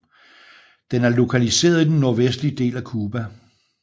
Den er lokaliseret i den nordvestlige del af Cuba